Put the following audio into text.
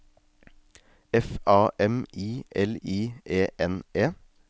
F A M I L I E N E